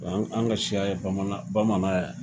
an' ŋ an' ŋa siya ye bamana bamanan ye